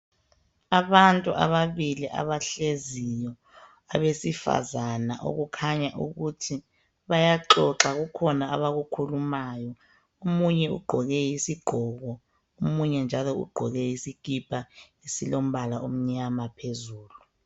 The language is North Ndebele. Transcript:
Abantu ababili abahleziyo abesifazana okukhanya ukuthi bayaxoxa kukhona abakukhulumayo. Omunye ugqoke isigqoko, omunye njalo ugqoke isikipa esilombala omnyama phezulu.